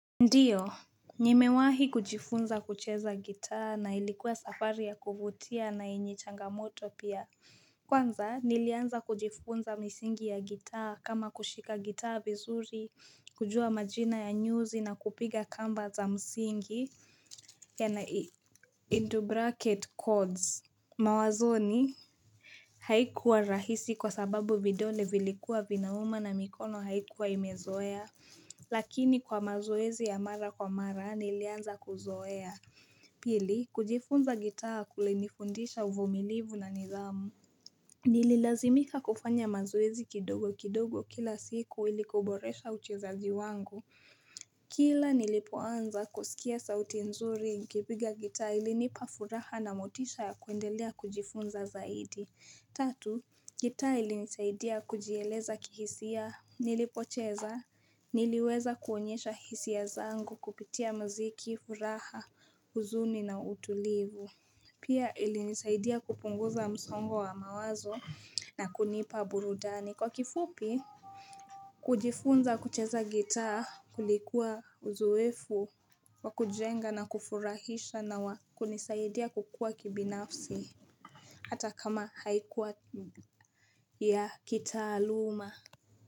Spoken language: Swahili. Ndiyo nimewahi kujifunza kucheza gitaa na ilikuwa safari ya kuvutia na yenye changamoto pia kwanza nilianza kujifunza misingi ya gitaa kama kushika gitaa vizuri kujua majina ya nyuzi na kupiga kamba za msingi (Codes) mawazoni haikuwa rahisi kwa sababu vidole vilikuwa vinauma na mikono haikuwa imezoea lakini kwa mazoezi ya mara kwa mara nilianza kuzoea pili kujifunza gitaa kulinifundisha uvumilivu na nidhamu nililazimika kufanya mazoezi kidogo kidogo kila siku ili kuboresha uchezaji wangu kila nilipoanza kusikia sauti nzuri nikipiga gitaa ilinipa furaha na motisha ya kuendelea kujifunza zaidi Tatu gitaa ilinisaidia kujieleza kihisia nilipocheza niliweza kuonyesha hisia zangu kupitia mziki furaha huzuni na utulivu pia ilinisaidia kupunguza msongo wa mawazo na kunipa burudani Kwa kifupi kujifunza kucheza gitaa kulikuwa uzoefu wakujenga na kufurahisha na wakunisaidia kukua kibinafsi hata kama haikuwa ya kitaaluma.